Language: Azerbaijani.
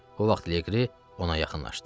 O vaxt Leqri ona yaxınlaşdı.